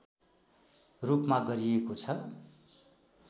रूपमा गरिएको छ